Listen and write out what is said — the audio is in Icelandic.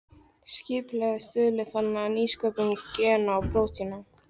Skipulagið stuðli þannig að nýsköpun gena og prótína.